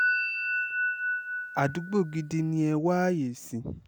àdúgbò gidi ni ẹ wá ààyè sí